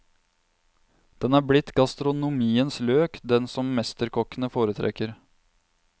Den er blitt gastronomiens løk, den som mesterkokkene foretrekker.